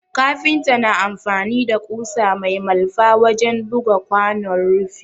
Kafinta na amfani da ƙusa mai malfa wajen buga kwanon rufi